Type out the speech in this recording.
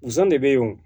Zonzan de bɛ yen o